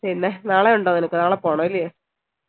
പിന്നെ നാളെയുണ്ടോ നിനക്ക് നാളെ പോണം ഇല്ലയോ